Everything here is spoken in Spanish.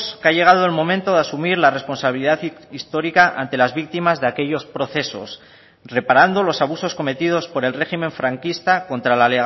que ha llegado el momento de asumir la responsabilidad histórica ante las víctimas de aquellos procesos reparando los abusos cometidos por el régimen franquista contra la